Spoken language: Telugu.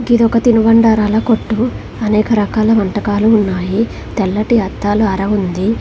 గిది ఒక తినుబండారాల కొట్టు. అనేక రకాల వంటకాలు ఉన్నాయి. తెల్లటి అద్దాల అర ఉంది.